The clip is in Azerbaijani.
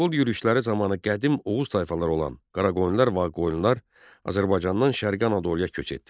Monqol yürüşləri zamanı qədim Oğuz tayfaları olan Qaraqoyunlular və Ağqoyunlular Azərbaycandan Şərqi Anadoluya köç etdilər.